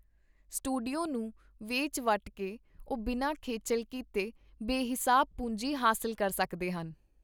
Studio ਨੂੰ ਵੇਚ-ਵੱਟ ਕੇ ਉਹ ਬਿਨਾਂ ਖੇਚੱਲ ਕੀਤੇ ਬੇਹਿਸਾਬ ਪੂੰਜੀ ਹਾਸਲ ਕਰ ਸਕਦੇ ਹਨ.